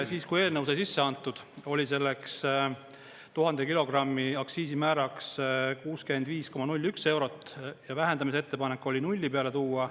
Kui eelnõusse sai sisse antud, siis oli selleks 1000 kilogrammi aktsiisimääraks 65,01 eurot ja vähendamise ettepanek oli nulli peale tuua.